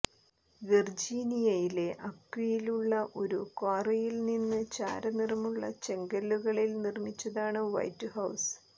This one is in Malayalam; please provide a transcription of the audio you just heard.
വെർജീനിയയിലെ അക്വിയിലുള്ള ഒരു ക്വാറിയിൽ നിന്ന് ചാരനിറമുള്ള ചെങ്കല്ലുകളിൽ നിർമിച്ചതാണ് വൈറ്റ് ഹൌസ്